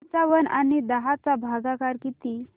पंचावन्न आणि दहा चा भागाकार किती